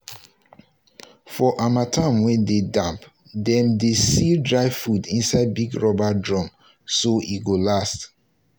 for harmattan wey dey damp dem dey seal dry food inside big rubber drum so e go last.